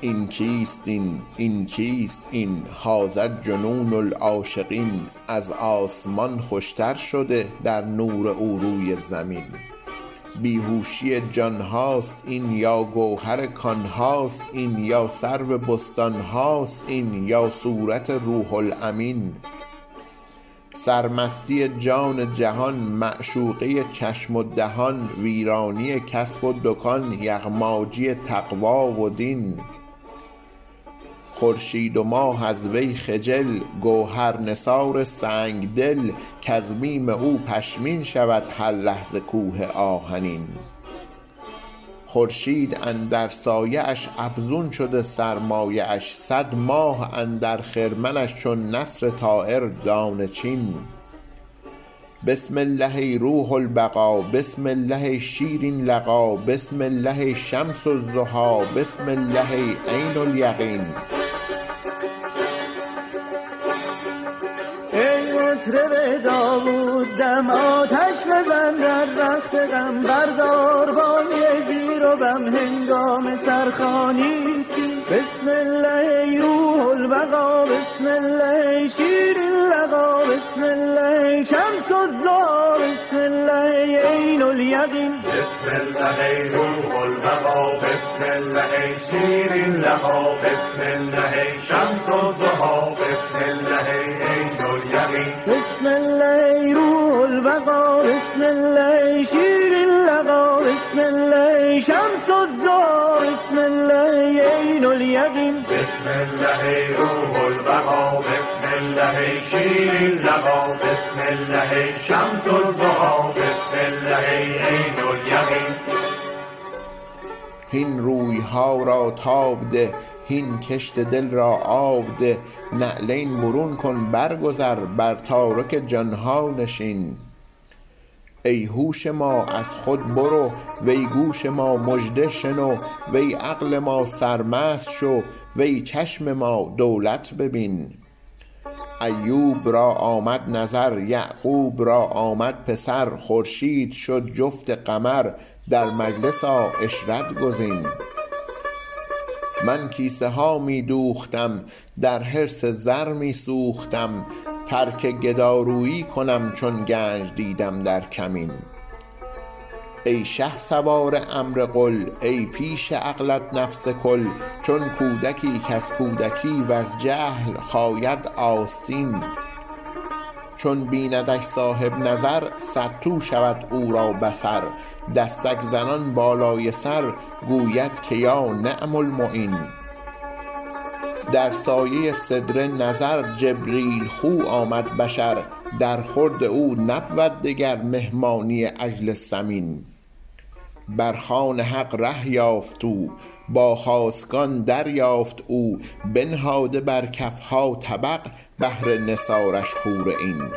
این کیست این این کیست این هذا جنون العاشقین از آسمان خوشتر شده در نور او روی زمین بی هوشی جان هاست این یا گوهر کان هاست این یا سرو بستان هاست این یا صورت روح الامین سرمستی جان جهان معشوقه چشم و دهان ویرانی کسب و دکان یغماجی تقوا و دین خورشید و ماه از وی خجل گوهر نثار سنگ دل کز بیم او پشمین شود هر لحظه کوه آهنین خورشید اندر سایه اش افزون شده سرمایه اش صد ماه اندر خرمنش چون نسر طایر دانه چین بسم الله ای روح البقا بسم الله ای شیرین لقا بسم الله ای شمس الضحا بسم الله ای عین الیقین هین روی ها را تاب ده هین کشت دل را آب ده نعلین برون کن برگذر بر تارک جان ها نشین ای هوش ما از خود برو وی گوش ما مژده شنو وی عقل ما سرمست شو وی چشم ما دولت ببین ایوب را آمد نظر یعقوب را آمد پسر خورشید شد جفت قمر در مجلس آ عشرت گزین من کیسه ها می دوختم در حرص زر می سوختم ترک گدارویی کنم چون گنج دیدم در کمین ای شهسوار امر قل ای پیش عقلت نفس کل چون کودکی کز کودکی وز جهل خاید آستین چون بیندش صاحب نظر صدتو شود او را بصر دستک زنان بالای سر گوید که یا نعم المعین در سایه سدره نظر جبریل خو آمد بشر درخورد او نبود دگر مهمانی عجل سمین بر خوان حق ره یافت او با خاصگان دریافت او بنهاده بر کف ها طبق بهر نثارش حور عین